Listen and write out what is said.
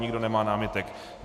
Nikdo nemá námitek.